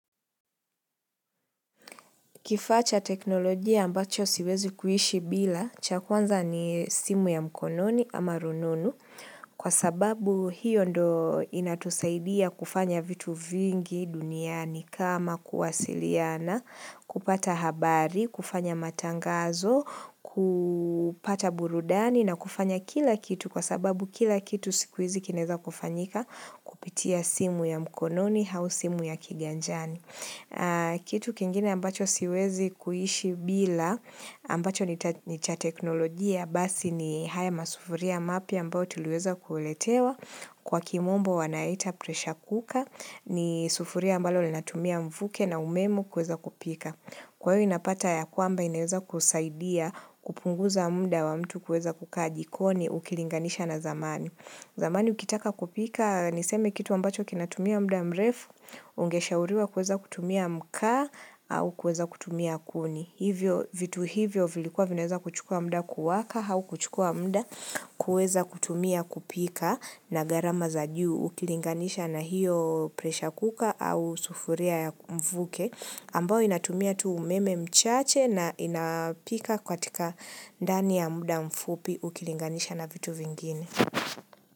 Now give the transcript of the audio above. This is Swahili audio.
Kifaa cha teknolojia ambacho siwezi kuishi bila, cha kwanza ni simu ya mkononi ama rununu. Kwa sababu hiyo ndo inatusaidia kufanya vitu vingi duniani kama kuwasiliana, kupata habari, kufanya matangazo, kupata burudani na kufanya kila kitu kwa sababu kila kitu siku hizi kinaeza kufanyika kupitia simu ya mkononi au simu ya kiganjani. Kitu kingine ambacho siwezi kuishi bila ambacho ni cha teknolojia basi ni haya masufuria mapya ambayo tuliweza kuletewa Kwa kimombo wanaita "pressure cooker" ni sufuria ambalo linatumia mvuke na umeme kuweza kupika. Kwa hiyo inapata ya kwamba inaweza kusaidia kupunguza muda wa mtu kuweza kukaa jikoni ukilinganisha na zamani. Zamani ukitaka kupika, niseme kitu ambacho kinatumia muda mrefu, ungeshauriwa kuweza kutumia makaa, au kuweza kutumia kuni. Hivyo, vitu hivyo vilikuwa vinaweza kuchukua muda kuwaka au kuchukua muda kuweza kutumia kupika na gharama za juu. Ukilinganisha na hiyo "pressure cooker" au sufuria ya mvuke. Ambao inatumia tu umeme mchache na inapika katika ndani ya muda mfupi ukilinganisha na vitu vingine.